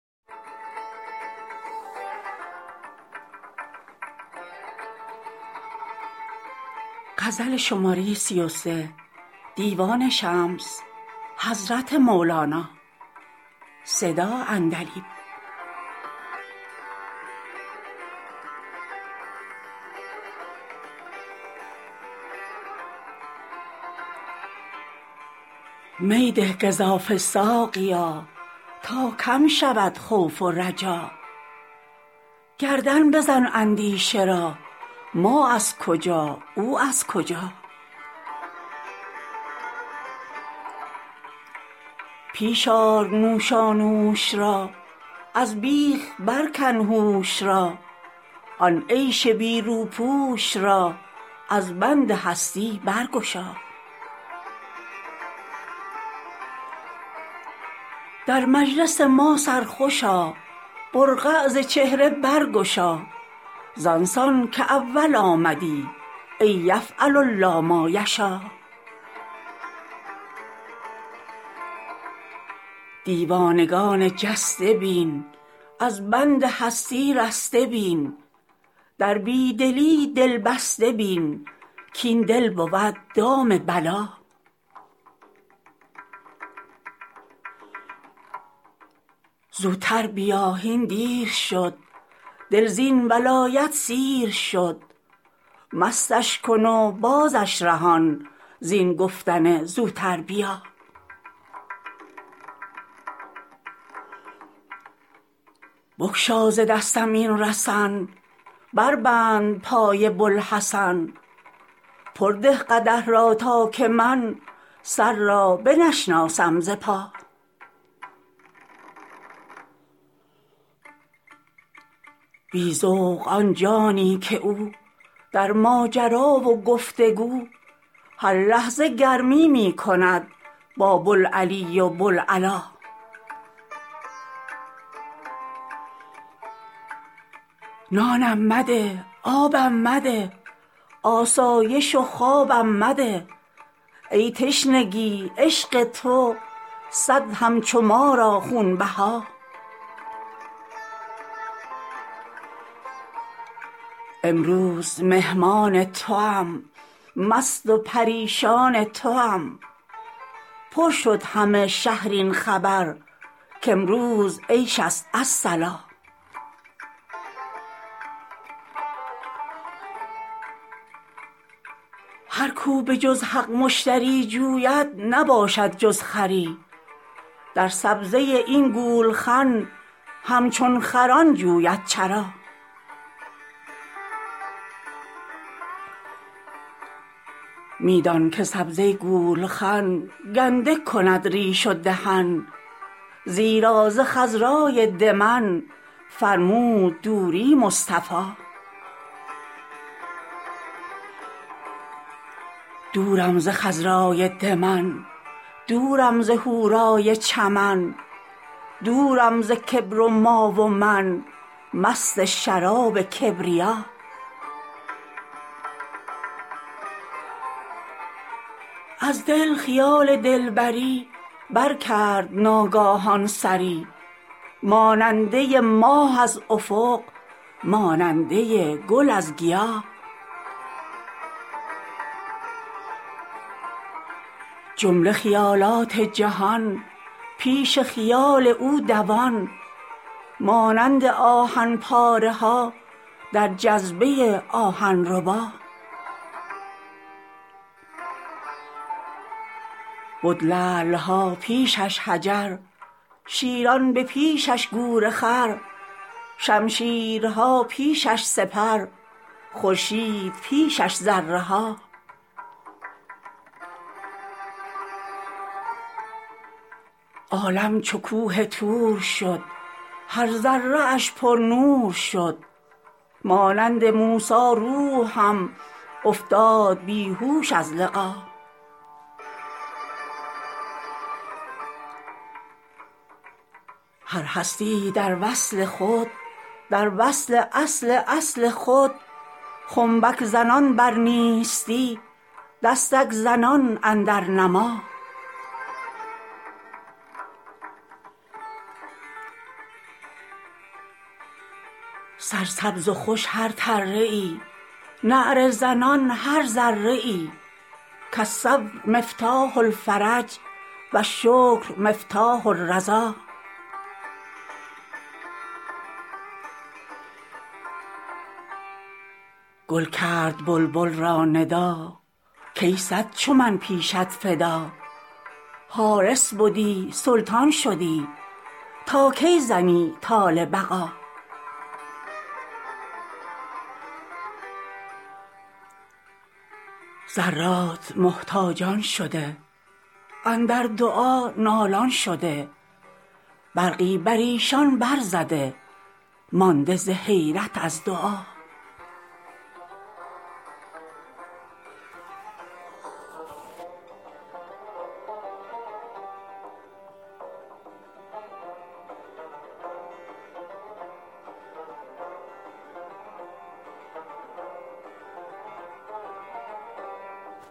می ده گزافه ساقیا تا کم شود خوف و رجا گردن بزن اندیشه را ما از کجا او از کجا پیش آر نوشانوش را از بیخ برکن هوش را آن عیش بی روپوش را از بند هستی برگشا در مجلس ما سرخوش آ برقع ز چهره برگشا زان سان که اول آمدی ای یفعل الله ما یشاٰ دیوانگان جسته بین از بند هستی رسته بین در بی دلی دل بسته بین کاین دل بود دام بلا زوتر بیا هین دیر شد دل زین ولایت سیر شد مستش کن و بازش رهان زین گفتن زوتر بیا بگشا ز دستم این رسن بربند پای بوالحسن پر ده قدح را تا که من سر را بنشناسم ز پا بی ذوق آن جانی که او در ماجرا و گفت و گو هر لحظه گرمی می کند با بوالعلی و بوالعلا نانم مده آبم مده آسایش و خوابم مده ای تشنگی عشق تو صد همچو ما را خونبها امروز مهمان توام مست و پریشان توام پر شد همه شهر این خبر کامروز عیش است الصلاٰ هر کو به جز حق مشتری جوید نباشد جز خری در سبزه این گولخن همچون خران جوید چرا می دان که سبزه گولخن گنده کند ریش و دهن زیرا ز خضرای دمن فرمود دوری مصطفی دورم ز خضرای دمن دورم ز حورای چمن دورم ز کبر و ما و من مست شراب کبریا از دل خیال دلبری برکرد ناگاهان سری ماننده ی ماه از افق ماننده ی گل از گیا جمله خیالات جهان پیش خیال او دوان مانند آهن پاره ها در جذبه آهن ربا بد لعل ها پیش اش حجر شیران به پیش اش گورخر شمشیرها پیش اش سپر خورشید پیش اش ذره ها عالم چو کوه طور شد هر ذره اش پرنور شد مانند موسی روح هم افتاد بی هوش از لقا هر هستی ای در وصل خود در وصل اصل اصل خود خنبک زنان بر نیستی دستک زنان اندر نما سرسبز و خوش هر تره ای نعره زنان هر ذره ای کالصبر مفتاح الفرج و الشکر مفتاح الرضا گل کرد بلبل را ندا کای صد چو من پیشت فدا حارس بدی سلطان شدی تا کی زنی طال بقا ذرات محتاجان شده اندر دعا نالان شده برقی بر ایشان برزده مانده ز حیرت از دعا السلم منهاج الطلب الحلم معراج الطرب و النار صراف الذهب و النور صراف الولا العشق مصباح العشا و الهجر طباخ الحشا و الوصل تریاق الغشا یا من علی قلبی مشا الشمس من افراسنا و البدر من حراسنا و العشق من جلاسنا من یدر ما فی راسنا یا سایلی عن حبه اکرم به انعم به کل المنی فی جنبه عند التجلی کالهبا یا سایلی عن قصتی العشق قسمی حصتی و السکر افنی غصتی یا حبذا لی حبذا الفتح من تفاحکم و الحشر من اصباحکم القلب من ارواحکم فی الدور تمثال الرحا اریاحکم تجلی البصر یعقوبکم یلقی النظر یا یوسفینا فی البشر جودوا بما الله اشتری الشمس خرت و القمر نسکا مع الاحدی عشر قدامکم فی یقظه قدام یوسف فی الکری اصل العطایا دخلنا ذخر البرایا نخلنا یا من لحب او نوی یشکوا مخالیب النوی